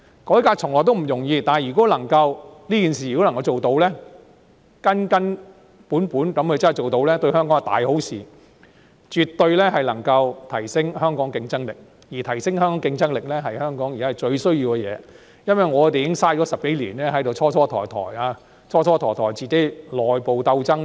改革從來不容易，但如果能夠根根本本地辦成這件事，對香港是大好的事情，絕對能夠提升香港的競爭力，而提升香港競爭力是香港現時最需要的工作，因為我們已蹉跎10多年時間，長時間內部鬥爭。